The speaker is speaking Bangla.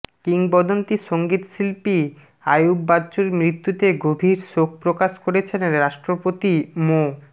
কিংবদন্তি সংগীতশিল্পী আইয়ুব বাচ্চুর মৃত্যুতে গভীর শোক প্রকাশ করেছেন রাষ্ট্রপতি মো